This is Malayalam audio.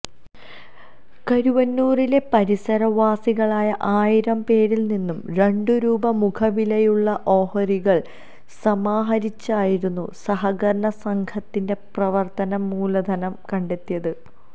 കരുവന്നൂരിലെ പരിസരവാസികളായ ആയിരം പേരില് നിന്നും രണ്ടു രൂപ മുഖവിലയുള്ള ഓഹരികള് സമാഹരിച്ചായിരുന്നു സഹകരണ സംഘത്തിന്റെ പ്രവര്ത്തന മൂലധനം കണ്ടെത്തിയത്